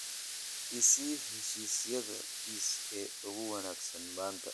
I sii heshiisyada pizza ee ugu wanaagsan maanta